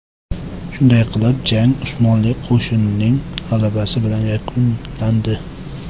Shunday qilib, jang Usmonli qo‘shining g‘alabasi bilan yakunlandi.